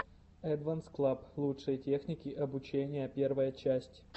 эдванс клаб лучшие техники обучения первая часть